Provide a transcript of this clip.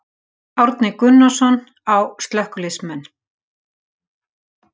Árni Gunnarsson: Á slökkviliðsmenn?